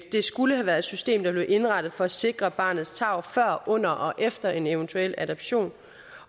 skulle have været et system der blev indrettet for at sikre barnets tarv før under og efter en eventuel adoption